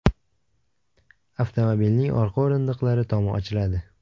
Avtomobilning orqa o‘rindiqlari tomi ochiladi.